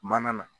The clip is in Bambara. Mana na